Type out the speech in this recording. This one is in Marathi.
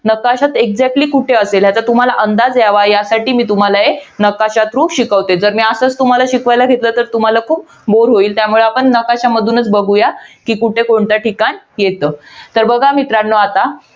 नकाशात exactly कुठे असेल याचा तुम्हाला अंदाज यावा. यासाठी मी तुम्हाला हे नकाशा through शिकवते. जर मी तुम्हाला असाच शिकवायला घेतलं तर तुम्हाला खूप bore होईल. त्यामुळे आपण नकाशा मधुनच बघूया. कि, कुठे कोणतं ठिकाण येतं. तर बघा मित्रांनो आता,